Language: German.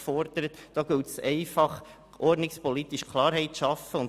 Hier muss ordnungspolitisch Klarheit geschaffen werden.